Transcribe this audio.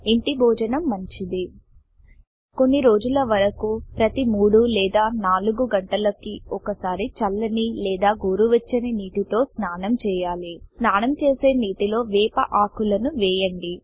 ఇంటి భోజనం మంచిది కొన్ని రోజుల వరకు ప్రతి మూడు లేదా నలుగు గంటలకి ఒక సారి చల్లని లేదా గోరువేచ్చిని నీటితో స్నానం చేయాలి 160 స్నానం చేసే నీటిలో వేప ఆకులను వేయండి